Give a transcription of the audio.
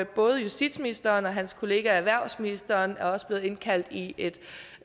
både justitsministeren og hans kollega erhvervsministeren er også blevet indkaldt i et